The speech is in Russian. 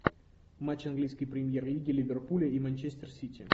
матч английской премьер лиги ливерпуля и манчестер сити